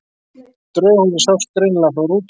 Draugahúsið sást greinilega frá rútunni.